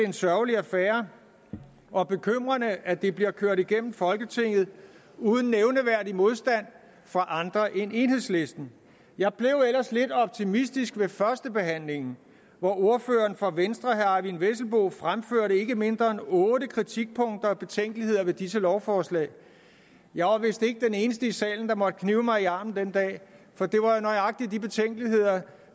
en sørgelig affære og bekymrende at det bliver kørt igennem folketinget uden nævneværdig modstand fra andre end enhedslisten jeg blev ellers lidt optimistisk ved førstebehandlingen hvor ordføreren for venstre herre eyvind vesselbo fremførte ikke mindre end otte kritikpunkter og betænkeligheder ved disse lovforslag jeg var vist ikke den eneste i salen der måtte knibe mig i armen den dag for det var nøjagtig de betænkeligheder